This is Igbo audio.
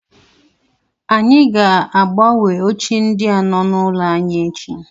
Anyị ga- agbanwe oche ndi a nọ n'ụlọ anyị echi.